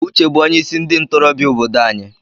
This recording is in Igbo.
Uche bụ onye isi ndị ntorobịa obodo anyị.